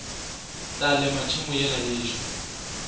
tla lema tšhemo yela yešo